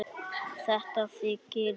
Þetta þykir mér flott!